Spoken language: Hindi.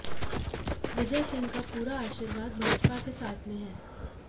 विजयसिंह का पूरा आशीर्वाद भाजपा के साथ में है